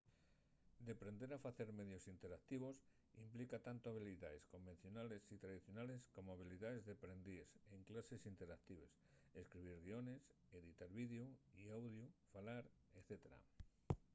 deprender a facer medios interactivos implica tanto habilidaes convencionales y tradicionales como habilidaes deprendíes en clases interactives escribir guiones editar videu y audiu falar etc.